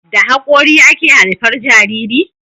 da hakori ake haifar Jariri